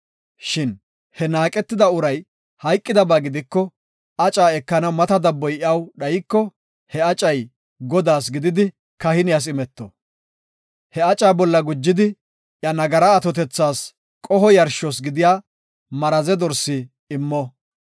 Shin he naaqetida uray hayqidaba gidiko, aca ekanaw mata dabboy iyaw dhayko, he acay Godaas gididi kahiniyas imeto. He aca bolla gujidi iya nagara atotethas qoho yarshos gidiya maraze dorsi immo.